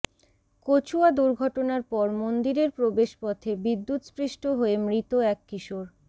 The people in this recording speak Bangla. কচুয়া দুর্ঘটনার পর মন্দিরের প্রবেশপথে বিদ্যুৎস্পৃষ্ট হয়ে মৃত এক কিশোর